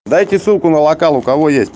дайте ссылку на локал у кого есть